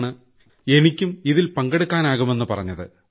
നിന്നാണ് എനിയ്ക്ക് ഇതിൽ പങ്കെടുക്കാനാകുമെന്ന് പറഞ്ഞത്